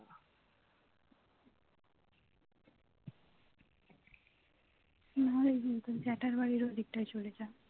নাহলে এদিক জেঠার বাড়ির ওই দিকটায় চলে যায়